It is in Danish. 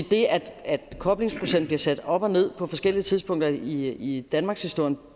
det at koblingsprocenten bliver sat op og ned på forskellige tidspunkter i danmarkshistorien